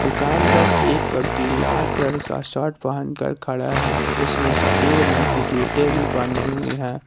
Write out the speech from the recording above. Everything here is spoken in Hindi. दुकान पर एक व्यक्ति लाल कलर का शर्ट पहन कर खड़ा है उसने सफ़ेद रंग की जूते भी पहने हुई है।